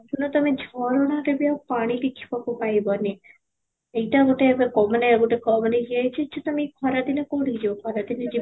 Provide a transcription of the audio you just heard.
ଦେଖୁନ ତୋମେ ଝରଣାରେ ବି ଆଉ ପାଣି ଦେଖିବାକୁ ପାଇବନି, ଏଇଟା ଗୋଟେ ଏବେ ମାନେ ମାନେ ୟେ ହେଇଛି ଯେ ତୋମେ ଖରା ଦିନେ କୋଉଠି କି ଯିବ ଖରା ଦିନେ